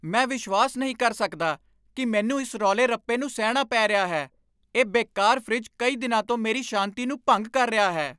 ਮੈਂ ਵਿਸ਼ਵਾਸ ਨਹੀਂ ਕਰ ਸਕਦਾ ਕੀ ਮੈਨੂੰ ਇਸ ਰੌਲੇ ਰੱਪੇ ਨੂੰ ਸਹਿਣਾ ਪੈ ਰਿਹਾ ਹੈ, ਇਹ ਬੇਕਾਰ ਫਰਿੱਜ ਕਈ ਦਿਨਾਂ ਤੋਂ ਮੇਰੀ ਸ਼ਾਂਤੀ ਨੂੰ ਭੰਗ ਕਰ ਰਿਹਾ ਹੈ!